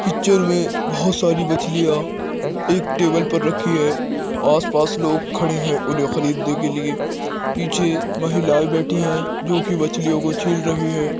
Picture मे बहोत सारी मछलियाँ एक टेबल पर रखी हैं आस पास लोग खड़े हैं उन्हे खरीद ने के लिए पीछे महिलायें बेठी है जो की मछलियों को छील रही हैं।